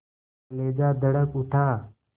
कलेजा धड़क उठा